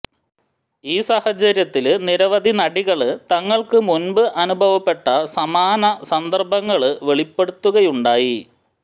ഈ സാഹചര്യത്തില് നിരവധി നടികള് തങ്ങള്ക്കു മുന്പ് അനുഭവപ്പെട്ട സമാന സന്ദര്ഭങ്ങള് വെളിപ്പെടുത്തുകയുണ്ടായി